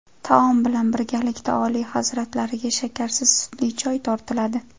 Taom bilan birgalikda Oliy hazratlariga shakarsiz sutli choy tortiladi.